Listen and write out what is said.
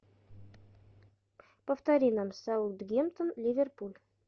повтори нам саутгемптон ливерпуль